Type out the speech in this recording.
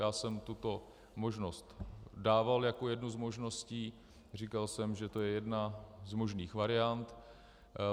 Já jsem tuto možnost dával jako jednu z možností, říkal jsem, že to je jedna z možných variant.